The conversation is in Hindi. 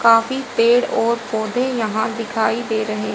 काफी पेड़ और पौधे यहां दिखाई दे रहे--